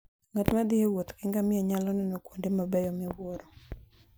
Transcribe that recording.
Ng'at ma thi e wuoth gi ngamia nyalo neno kuonde mabeyo miwuoro.